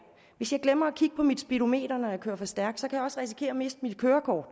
hvis jeg glemmer at kigge på mit speedometer når jeg kører for stærkt så kan jeg også risikere at miste mit kørekort